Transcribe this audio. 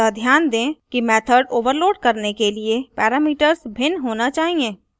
अतः ध्यान दें कि मेथड ओवरलोड करने के लिए पैरामीटर्स भिन्न होना चाहिए